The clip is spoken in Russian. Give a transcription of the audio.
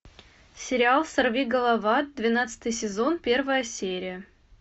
сериал сорвиголова двенадцатый сезон первая серия